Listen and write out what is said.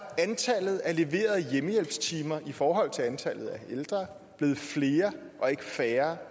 antallet af leverede hjemmehjælpstimer i forhold til antallet af ældre blevet flere og ikke færre